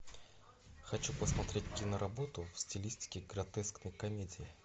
хочу посмотреть киноработу в стилистике гротескной комедии